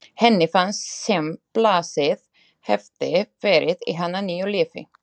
Henni fannst sem blásið hefði verið í hana nýju lífi.